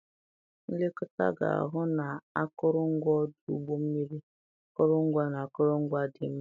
Nlekọta ga-ahụ na akụrụngwa ọdụ ụgbọ mmiri, akụrụngwa, na akụrụngwa dị mma.